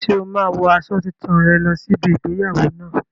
Ṣé o máa wo aṣọ tuntun rẹ lọ sí ibi igbéyàwó náà?